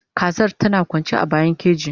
Kazar tana kwanci a bayan keji